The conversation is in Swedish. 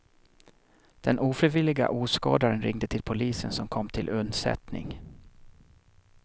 Den ofrivilliga åskådaren ringde till polisen som kom till undsättning.